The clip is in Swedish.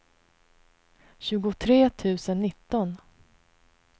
tjugotre tusen nitton